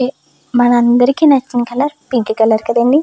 మనందరికీ నచ్చిన colour pink colour కదండీ.